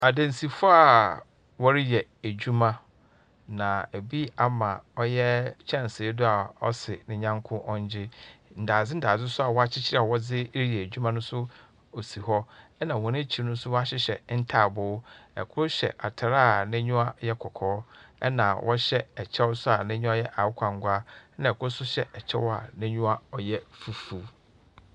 Adansifoɔ a wɔreyɛ adwuma, na ebi ama ɔyɛ kyɛnse do a ɔse ne yanko ɔngye. Ndadze ndadze nso a wɔakyekyer wɔdze reyɛ adwuma no nso osi hɔ, ɛnna wɔn ekyir no nso, wɔahyehyɛ ntaaboo. Kor hyɛ atar a n'enyiwa yɛ kɔkɔɔ, ɛnna ɔhyɛ kyɛw so n'enyiwa yɛ akokɔ angu, ɛnna kor nso hyɛ kyɛw a n'enyiwa yɛ fufuw.